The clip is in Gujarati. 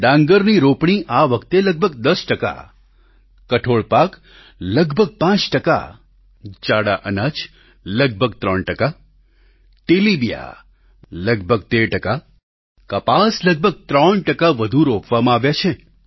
ડાંગરની રોપણી આ વખતે લગભગ 10 ટકા કઠોળ પાક લગભગ 5 ટકા જાડા અનાજ કોર્સ સીરિયલ્સ લગભગ 3 ટકા તેલીબિયાં લગભગ 13 ટકા કપાસ લગભગ 3 ટકા વધુ રોપવામાં આવ્યા છે